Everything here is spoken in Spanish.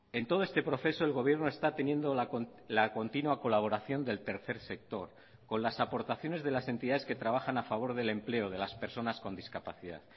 en todo este proceso el gobierno está teniendo la continua colaboración del tercer sector con las aportaciones de las entidades que trabajan a favor del empleo de las personas con discapacidad